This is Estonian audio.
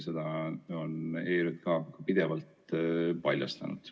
Seda on ERJK ka pidevalt paljastanud.